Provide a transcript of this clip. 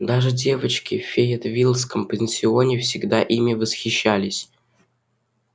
даже девочки в фейетвиллском пансионе всегда ими восхищались